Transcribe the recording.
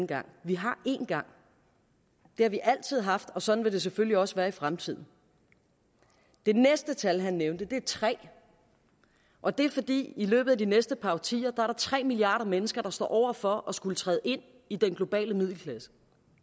gang vi har en gang det har vi altid haft og sådan vil det selvfølgelig også være i fremtiden det næste tal han nævnte var tre og det er fordi i løbet af de næste par årtier er tre milliarder mennesker der står over for at skulle træde ind i den globale middelklasse